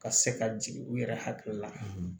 Ka se ka jigin u yɛrɛ hakili la